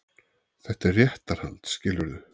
Þetta er réttarhald, skilurðu.